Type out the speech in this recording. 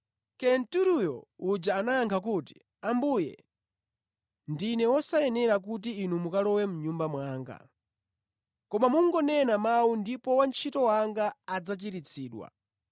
Kenturiyo uja anayankha kuti, “Ambuye, ndine wosayenera kuti Inu mukalowe mʼnyumba mwanga. Koma mungonena mawu ndipo wantchito wanga adzachiritsidwa.